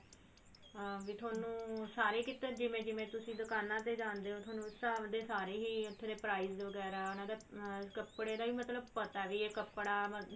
ਹਾਂ ਵੀ ਥੋਨੂੰ ਸਾਰੇ ਕਿਤੇ ਜਿਵੇਂ ਜਿਵੇਂ ਤੁਸੀਂ ਦੁਕਾਨਾ ਤੇ ਜਾਂਦੇ ਹੋ ਥੋਨੂੰ ਉਸ ਹਿਸਾਬ ਦੇ ਸਾਰੇ ਹੀ ਉੱਥੇ price ਵਗੇਰਾ ਹਨਾ ਅਮ ਕੱਪੜੇ ਦਾ ਵੀ ਮਤਲਬ ਪਤਾ ਵੀ ਇਹ ਕੱਪੜਾ ਮਤਲਬ